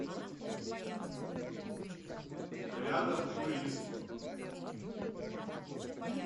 рядом турист